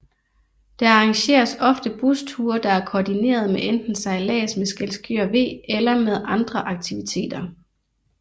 Der arrangeres ofte busture der er kordinerede med enten sejllads med Skjelskør V eller med andre aktiviteter